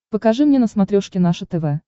покажи мне на смотрешке наше тв